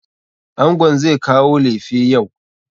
Angon zai kawo lefe yau.